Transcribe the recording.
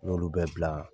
N y'olu bɛɛ bila